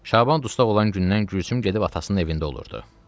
Şaban dustaq olan gündən Gülsüm gedib atasının evində olurdu.